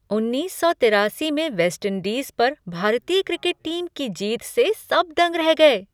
उन्नीस सौ तिरासी में वेस्टइंडीज पर भारतीय क्रिकेट टीम की जीत से सब दंग रह गए!